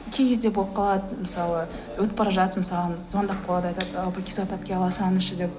кей кезде болып қалады мысалы өтіп бара жатырсың саған звондап қалады айтады ы пакизат әпке ала салыңызшы деп